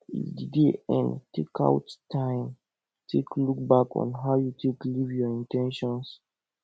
if di day end take out time take look back on how you take live your in ten tions